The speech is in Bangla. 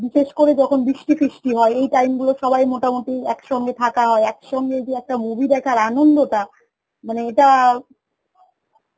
বিশেষ করে যখন বৃষ্টি ফৃষ্টি হয় এই time গুলো সবাই মোটামুটি একসঙ্গে থাকা একসঙ্গে যে একটা movie দেখার আনন্দটা, মানে এটা